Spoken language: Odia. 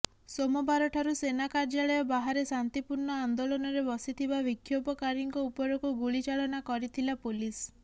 ସୋମବାର ଠାରୁ ସେନା କାର୍ଯ୍ୟାଳୟ ବାହାରେ ଶାନ୍ତିପୂର୍ଣ୍ଣ ଆନ୍ଦୋଳନରେ ବସିଥିବା ବିକ୍ଷୋଭକାରୀଙ୍କ ଉପରକୁ ଗୁଳି ଚାଳନା କରିଥିଲା ପୋଲିସ୍